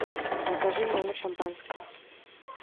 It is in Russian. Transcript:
закажи в номер шампанское